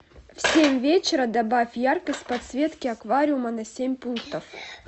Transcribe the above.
в семь вечера добавь яркость подсветки аквариума на семь пунктов